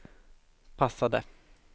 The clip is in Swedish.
passade